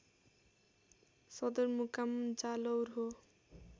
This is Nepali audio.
सदरमुकाम जालौर हो